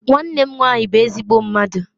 Nwannem nwanyi bu ezigbo mmadu.